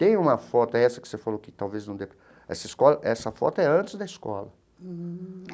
Tem uma foto, é essa que você falou que talvez não dê... Essa escola essa foto é antes da escola.